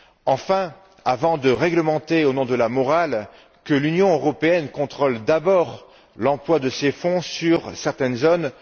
Enfin, avant de réglementer au nom de la morale, que l'Union européenne contrôle d'abord l'emploi de ses fonds dans certaines zones!